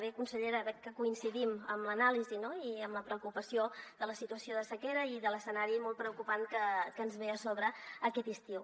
bé consellera veig que coincidim en l’anàlisi i en la preocupació de la situació de sequera i de l’escenari molt preocupant que ens ve a sobre aquest estiu